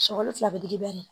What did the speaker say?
Sɔkɔli fila bi girin